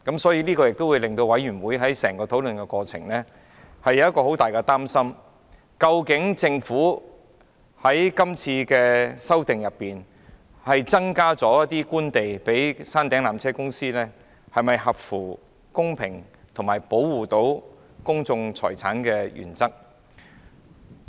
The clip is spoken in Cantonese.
所以，委員在討論過程中有極大的擔憂，質疑政府藉是次修訂增撥官地予纜車公司，是否合乎公平及保障公眾財產的原則。